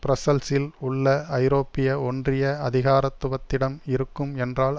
பிரஸ்ஸல்ஸில் உள்ள ஐரோப்பிய ஒன்றிய அதிகாரத்துவத்திடம் இருக்கும் என்றால்